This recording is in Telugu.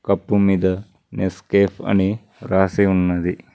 కప్ మీద నెస్కేఫ్ అని రాసి ఉన్నది.